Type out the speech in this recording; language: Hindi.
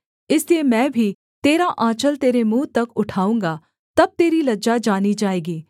इसलिए मैं भी तेरा आँचल तेरे मुँह तक उठाऊँगा तब तेरी लज्जा जानी जाएगी